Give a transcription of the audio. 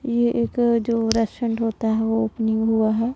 ये एक जो रेस्टोरेंट होता है वो ओपनिंग हुआ है।